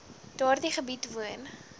daardie gebied woon